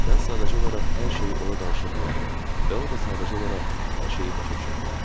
Mən sadəcə olaraq hər şeyi ona danışa bilərdim və o da sadəcə olaraq hər şeyi başa düşə bilərdi.